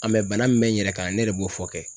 An bɛ bana min bɛ n yɛrɛ kan ne de b'o fɔ kɛ.